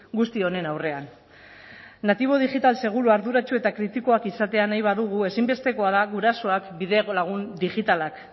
guzti honen aurrean natibo digital seguru arduratsu eta kritikoak izatea nahi badugu ezinbestekoa da gurasoak bidelagun digitalak